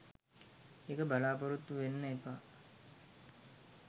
ඒක බලාපොරොත්තු වෙන්න එපා.